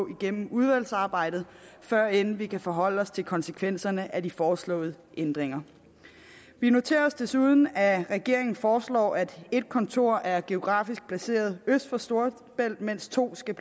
igennem udvalgsarbejdet førend vi kan forholde os til konsekvenserne af de foreslåede ændringer vi noterer os desuden at regeringen foreslår at et kontor er geografisk placeret øst for storebælt mens to skal